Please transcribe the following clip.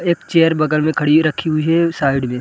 एक चेयर बगल में खड़ी रखी हुई है साइड में --